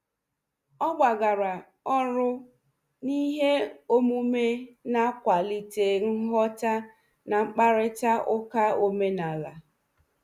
Ọ gbagara ọrụ n'ihe omume na-akwalite nghọta na mkparịta ụka omenala.